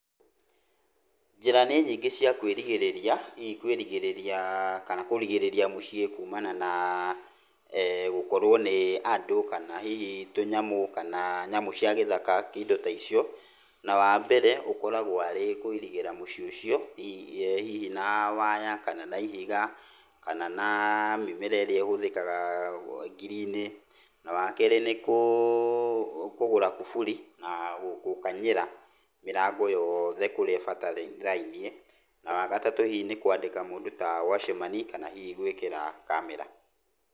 Njĩra nĩ nyingĩ cia kwĩrigĩrĩria hihi kwĩrigĩrĩria kana kũrigĩrĩria mũciĩ kumana na gũkorwo nĩ andũ kana hihi tũnyamũ kana nyamũ cia gĩthaka indo ta ũcio. Na wambere ũkoragũo arĩ kũirigĩra mũciĩ ũcio hihi na waya kana na ihiga, kana na mĩmera ĩrĩa ĩhũthĩkaga ngiri-inĩ. Na wakerĩ nĩ kĩgũra kuburi na gũkanyĩra mĩrango yothe kũrĩa ĩbatarainie. Na watatũ hihi nĩ kwandĩka mũndũ ta wachimani kana hihi gwĩkĩra kamera.